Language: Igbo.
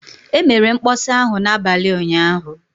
Emere mkpọsa ahụ n'abalị ụnyahụ